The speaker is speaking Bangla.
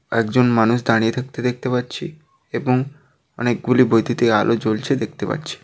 একজন মানুষ দাঁড়িয়ে থাকতে দেখতে পাচ্ছি এবং অনেক গুলি বৈদ্যুতিক আলো জ্বলছে দেখতে পাচ্ছি।